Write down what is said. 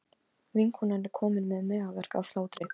Vinkonan er komin með magaverk af hlátri.